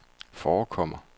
forekommer